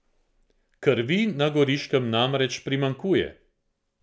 Krvi na Goriškem namreč primanjkuje!